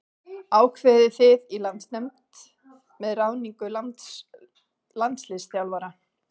Ákveðið þið í landsliðsnefnd með ráðningu landsliðsþjálfara?